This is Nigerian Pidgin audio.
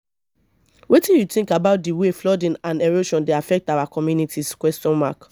wetin you think about di way flooding and erosion dey affect our communities?